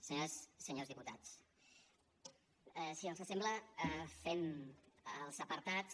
senyores senyors diputats si els sembla fem els apartats